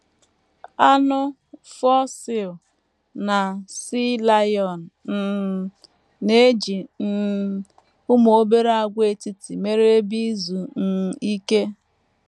Anụ “ fur seal ” na “ sea lion ” um na - eji um ụmụ obere àgwàetiti mere ebe izu um ike